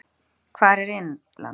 Hvar er Innland?